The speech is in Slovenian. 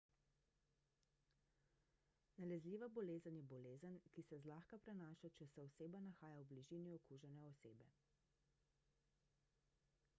nalezljiva bolezen je bolezen ki se zlahka prenaša če se oseba nahaja v bližini okužene osebe